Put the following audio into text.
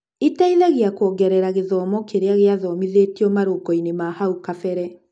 ĩteithagia kuongerera gĩthomo kĩria gĩathomithĩtio marũngo-inĩ ma hau kabere